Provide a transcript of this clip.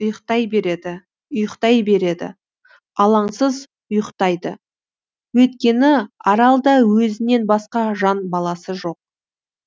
ұйықтай береді ұйықтай береді алаңсыз ұйықтайды өйткені аралда өзінен басқа жан баласы жоқ